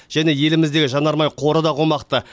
және еліміздегі жанармай қоры да қомақты